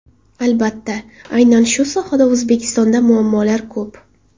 Albatta, aynan shu sohada O‘zbekistonda muammolar ko‘p.